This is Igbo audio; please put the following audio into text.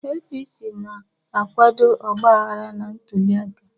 APC na-akwado ọgbaghara na ntuliaka